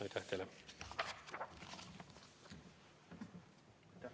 Aitäh teile!